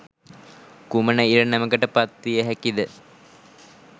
කුමන ඉරණමකට පත්විය හැකිද?